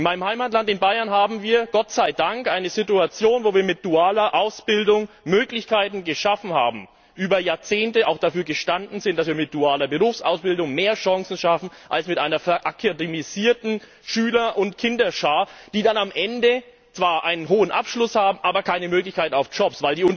In meinem Heimatland Bayern haben wir Gott sei Dank eine Situation, wo wir mit dualer Ausbildung Möglichkeiten geschaffen haben, über Jahrzehnte auch dafür gestanden sind, dass wir mit dualer Berufsausbildung mehr Chancen schaffen als mit einer verakademisierten Schüler und Kinderschar, die dann am Ende zwar einen hohen Abschluss haben, aber keine Möglichkeit auf Jobs.